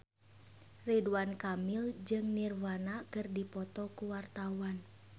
Ridwan Kamil jeung Nirvana keur dipoto ku wartawan